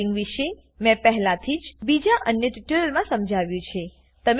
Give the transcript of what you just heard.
dubbing વિશે મેં પહેલાથી જ બીજા અન્ય ટ્યુટોરીયલમાં સમજાવ્યું છે